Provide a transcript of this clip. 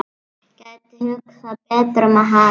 Gæti hugsað betur um hann.